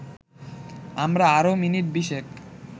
আমরা আরও মিনিট বিশেক